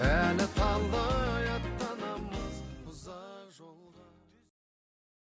әлі талай аттанамыз ұзақ жолға